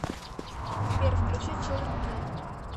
сбер включи чилдрен киллер